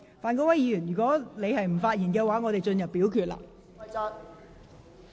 范國威議員，如你不想發言，本會便進入表決階段。